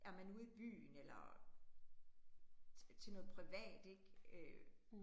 Jamen ude i byen eller, til noget privat ik øh